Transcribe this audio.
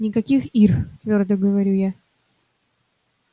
никаких ир твёрдо говорю я